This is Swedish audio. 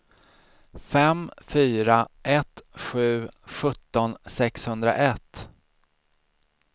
fem fyra ett sju sjutton sexhundraett